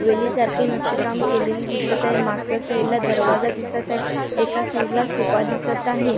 वेलीसारखे नक्षीकाम केलेले दिसत आहे मागच्या साइड ला दरवाजा दिसत आहे एका साइड ला सोफा दिसत आहे.